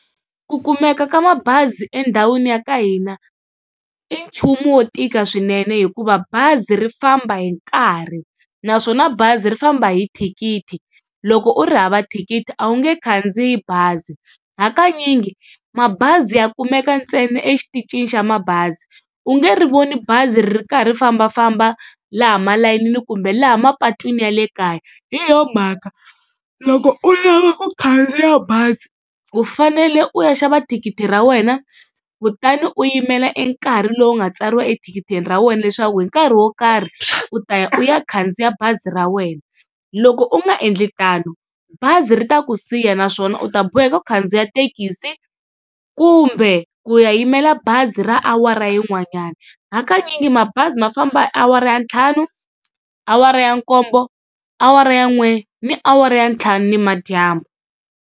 Ku kumeka ka mabazi endhawini ya ka hina i nchumu wo tika swinene hikuva bazi ri famba hi nkarhi, naswona bazi ri famba hi thikithi loko u ri hava thikithi a wu nge khandziyi bazi. Hakanyingi mabazi ya kumeka ntsena exitichini xa mabazi u nge ri voni bazi ri karhi ri fambafamba laha malayinini kumbe laha mapatwini ya le kaya. Hi yo mhaka loko u lava ku khandziya bazi u fanele u ya xava thikithi ra wena kutani u yimela enkarhi lowu nga tsariwa ethikithini ra wena leswaku hi nkarhi wo karhi u ta ya u ya khandziya bazi ra wena. Loko u nga endli tano bazi ri ta ku siya naswona u ta boheka ku khandziya thekisi kumbe ku ya yimela bazi ra awara yin'wanyana, hakanyingi mabazi ma famba awara ya ntlhanu, awara ya nkombo, awara ya n'we ni awara ya ntlhanu nimadyambu.